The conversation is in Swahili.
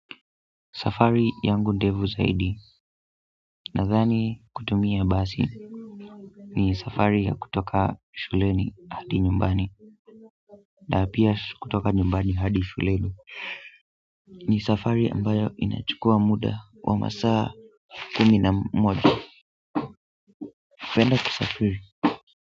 Safari yangu ndefu zaidi nadhani kutumia basi ni safari ya kutoka shuleni hadi nyumbani na pia kutoka nyumbani hadi shuleni ni safari ambayo inachukua muda wa masaa kumi na moja penda kusafiri.